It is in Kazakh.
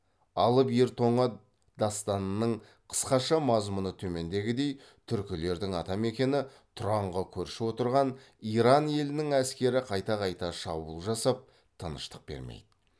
алып ер тоңа дастанының қысқаша мазмұны төмендегідей түркілердің ата мекені тұранға көрші отырған иран елінің әскері қайта қайта шабуыл жасап тыныштық бермейді